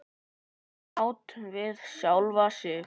Sátt við sjálfa sig.